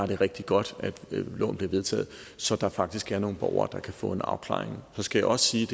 rigtig godt at loven blev vedtaget så der faktisk er nogle borgere der kan få en afklaring så skal jeg også sige